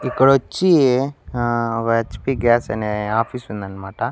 ఇక్కడొచ్చి ఆ ఒ H P gas అనే ఆఫీస్ ఉందన్మాట.